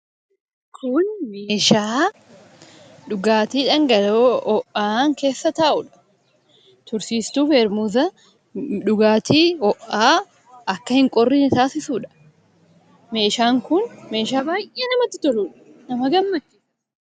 Kun meeshaa dhugaatii dhangala'oo ho'aan keessa taa'udha. Tursiistuu ("peermuza") dhugaatii ho'aan akka hin qorrine taasisuudha. Meeshaan kun meeshaa baay'ee namatti toluudha: baay'ee nama gammachiisa.